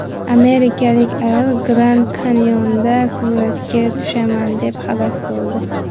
Amerikalik ayol Grand-Kanyonda suratga tushaman deb halok bo‘ldi.